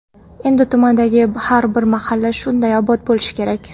Endi tumandagi har bir mahalla shunday obod bo‘lishi kerak.